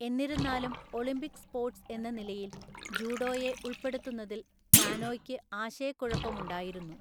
എന്നിരുന്നാലും, Olympic sports എന്ന നിലയിൽ ജൂഡോയെ ഉൾപ്പെടുത്തുന്നതിൽ കാനോയ്ക്ക് ആശയക്കുഴപ്പമുണ്ടായിരുന്നു.